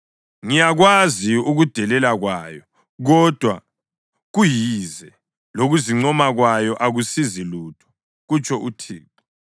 Ngiyakwazi ukudelela kwayo, kodwa kuyize, lokuzincoma kwayo akusizi lutho,” kutsho uThixo